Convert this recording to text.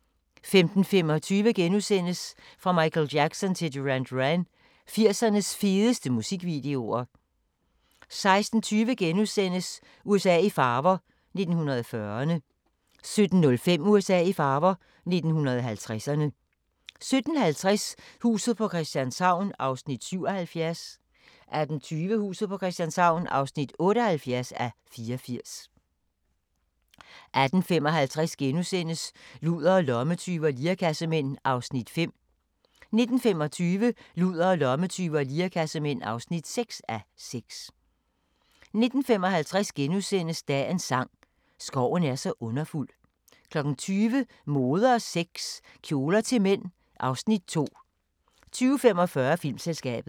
15:25: Fra Michael Jackson til Duran Duran – 80'ernes fedeste musikvideoer * 16:20: USA i farver – 1940'erne * 17:05: USA i farver – 1950'erne 17:50: Huset på Christianshavn (77:84) 18:20: Huset på Christianshavn (78:84) 18:55: Ludere, lommetyve og lirekassemænd (5:6)* 19:25: Ludere, lommetyve og lirekassemænd (6:6) 19:55: Dagens sang: Skoven er så underfuld * 20:00: Mode og sex - Kjoler til mænd (Afs. 2) 20:45: Filmselskabet